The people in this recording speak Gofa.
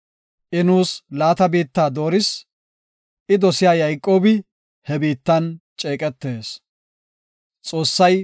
I nuus laata biitta dooris; I dosiya Yayqoobi he biittan ceeqetees. Salaha.